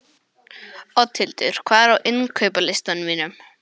Oddhildur, hvað er á innkaupalistanum mínum?